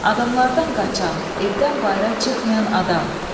Adamlardan qaçan, evdən bayıra çıxmayan adam.